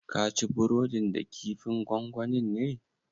Kaci burodin da kifin gongonin ne?